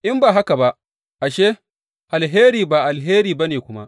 In ba haka ba, ashe, alheri ba alheri ba ne kuma.